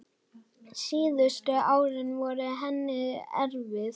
Síðustu árin voru henni erfið.